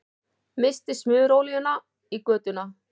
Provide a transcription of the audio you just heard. Missti smurolíuna í götuna